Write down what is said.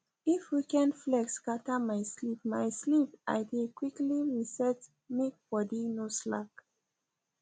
if weekend flex scatter my sleep my sleep i dey quickly reset make body no slack